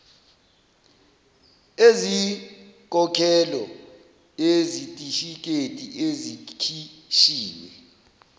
eziyinkokhelo yezitifiketi ezikhishiwe